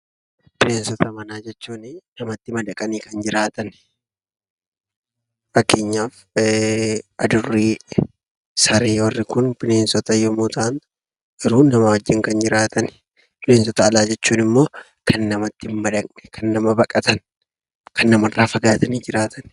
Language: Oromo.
Bineensota manaa jechuun namatti madaqanii kan jiraatani. Fakkeenyaaf: Adurree, Saree... Warri kun Bineensota yommuu ta'an; garuu namaa wajjin kan jiraatanidha. Bineensota alaa jechuun immoo, kan namatti hin madaqne, kan nama baqatan, kan namarraa fagaatanii jiraatan.